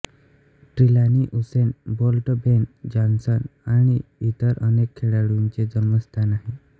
Trelawny Usain Bolt Ben Johnson आणि एतर अनेक खेळाडूंचे जन्मस्थान आहे